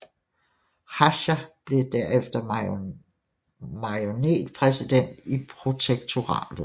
Hácha blev derefter marionetpræsident i protektoratet